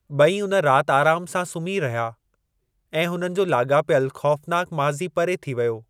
ॿई उन राति आराम सां सुम्ही रहिया ऐं हुननि जो लाॻापियलु ख़ौफ़नाक माज़ी परे थी वियो।